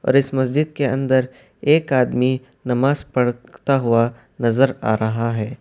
اور اس مسجد کے اندر ایک آدمی نماز پڑھتا ہوا نظر آ رہا ہے۔